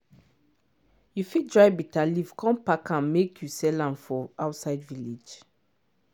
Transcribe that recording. you fit dry bitter leaf con pack am make you sell am for outside village.